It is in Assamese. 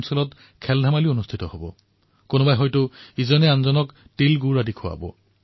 মানুহে পৰস্পৰে পৰস্পৰক কব তিল গুড় ঘ্যা আণি গোড়গোড় বোলা